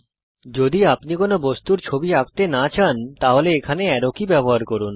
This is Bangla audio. যদি আপনি কোনো বস্তুর ছবি আঁকতে না চান তাহলে এখানে অ্যারো কি ব্যবহার করুন